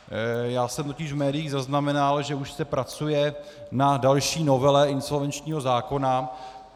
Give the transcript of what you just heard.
Já jsem totiž v médiích zaznamenal, že už se pracuje na další novele insolvenčního zákona.